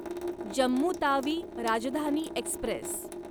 Jammu Tawi Rajdhani Express